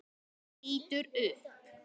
Lítur upp.